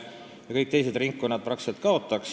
Praktiliselt kõik teised valimisringkonnad kaotaks.